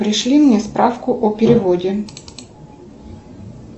пришли мне справку о переводе